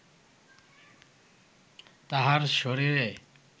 তাঁহার শরীরে